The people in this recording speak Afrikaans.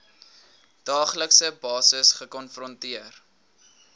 daaglikse basis gekonfronteer